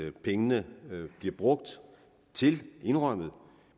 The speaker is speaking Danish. at pengene bliver brugt til indrømmet